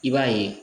I b'a ye